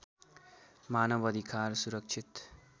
मानव अधिकार सुरक्षित